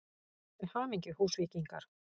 Til hamingju Húsvíkingar!!